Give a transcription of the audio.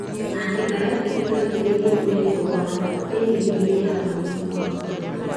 Antibiotic no iteithie mwĩrĩ kũrũa na bakteria ĩrĩa ĩrehaga mũrimũ wa korera.